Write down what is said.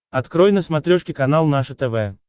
открой на смотрешке канал наше тв